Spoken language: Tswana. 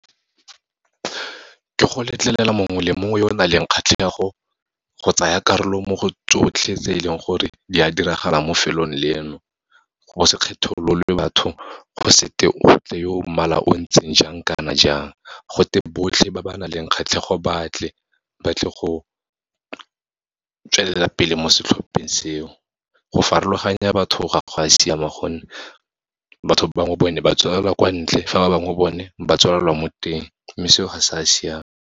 Ke go letlelela mongwe le mongwe yo o nang le kgatlhego go tsaya karolo mo go tsotlhe tse e leng gore di a diragala mo felong leno. Go se kgetholole batho, go se te go tle yo mmala o ntseng jang kana jang, go te botlhe ba ba nang le kgatlhego batle, batle go tswelelapele mo setlhopheng seo. Go farologanya batho ga go a siama gonne, batho bangwe bone ba tswalelwa kwa ntle, fa ba bangwe bone ba tswalelwa mo teng, mme seo ga se a siama.